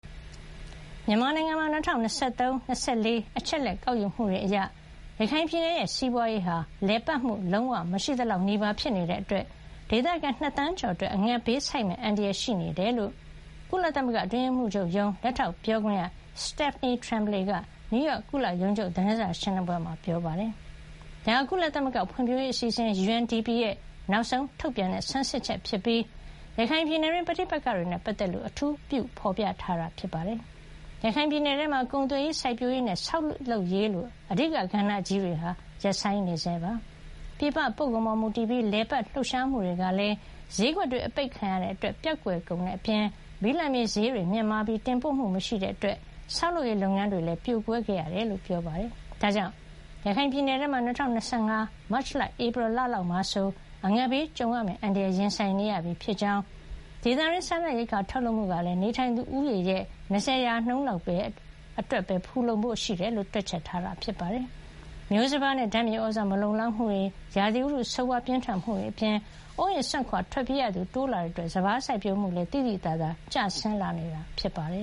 မြန်မာနိုင်ငံမှာ ၂၀၂၃- ၂၄ အချက်အလက် ကောက်ယူမှုတွေအရ ရခိုင်ပြည်နယ်ရဲ့ စီးပွါးရေးဟာ လည်ပတ်မှု လုံးဝ မရှိသလောက်နီးပါး ဖြစ်နေတာကြောင့် ဒေသခံ ၂ သန်းကျော် အငတ်ဘေးဆိုက်မယ့် အန္တရာယ် ရှိနေတယ်လို့ ကုလသမဂ္ဂ အတွင်းရေးမှူးချုပ်ရုံး လက်ထောက်ပြောခွင့်ရ Stephanie Tremblay က နယူးယောက်မြို့ ကုလရုံးချုပ် သတင်းစာရှင်းလင်းပွဲမှာ ပြောပါတယ်။ ဒါဟာ ကုလသမဂ္ဂ ဖွံဖြိုးရေးအစီအစဉ် UNDP ရဲ့ နောက်ဆုံးထုတ်ပြန်တဲ့ ဆန်းစစ်ချက်ဖြစ်ပြီး၊ ရခိုင်ပြည်နယ်တွင်း ပဋိပက္ခတွေနဲ့ ပတ်သက်လို့ အထူးပြု ဖေါ်ပြထားတာပါ။ ရခိုင်ပြည်နယ်ထဲမှာ ကုန်သွယ်ရေး၊ စိုက်ပျိုးရေးနဲ့ ဆောက်လုပ်ရေးလို အဓိက ကဏ္ဍကြီးတွေဟာ ရပ်ဆိုင်းနေပါတယ်။ ပြည်ပပို့ကုန်ပေါ် မူတည်ပြီး လည်ပတ် လှုပ်ရှားမှုတွေကလည်း ဈေးကွက်တွေ အပိတ်ခံထားရတာကြောင့် ပျောက်ကွယ်ကုန်တဲ့အပြင် ဘိလပ်မြေဈေးတွေ မြင့်မားလာပြီး တင်ပို့မှုလည်း မရှိတဲ့အတွက် ဆောက်လုပ်ရေးလုပ်ငန်းတွေလည်း ရပ်ဆိုင်းနေခဲ့ရတယ်လို့ ပြောပါတယ်။ ဒါကြောင့် ရခိုင်ပြည်နယ်မှာ ၂၀၂၅ မတ်လ- ဧပြီ လလောက်မှာဆို အငတ်ဘေးကြုံလာမယ့် အန္တရာယ် ရင်ဆိုင်နေရပြီး ဒေသတွင်း စားနပ်ရိက္ခာ ထုတ်လုပ်မှုကလည်း နေထိုင်သူဦးရေရဲ့ ၂၀ ရာခိုင်နှုန်းလောက် အတွက်ပဲ ဖူလုံဖို့ ရှိတယ်လို့ တွက်ချက်ထားတာပါ။ မျိုးစပါးနဲ့ ဓါတ်မြေသြဇာ မလုံလောက်မှုတွေ၊ ရာသီဥတုဆိုးဝါး ပြင်းထန်မှုတွေအပြင် အိုးအိမ်စွန့်ခွါ ထွက်ပြေးရသူ တိုးလာတာကြောင့် စပါးစိုက်ပျိုးမှုမှာလည်း သိသိသာသာ ကျဆင်းလာနေတာ ဖြစ်ပါတယ